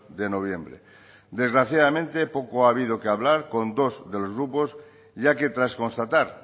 de noviembre desgraciadamente poco ha habido que hablar con dos de los grupos ya que tras constatar